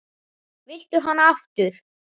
Viltu hana aftur?